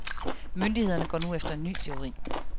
Myndighederne går nu efter en ny teori.